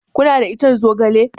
Kuna da ican zogale?